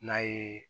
N'a ye